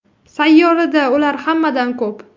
Sayyorada ular hammadan ko‘p.